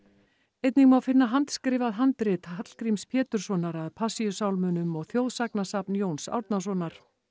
einnig má finna handskrifað handrit Hallgríms Péturssonar að Passíusálmunum og þjóðsagnasafn Jóns Árnasonar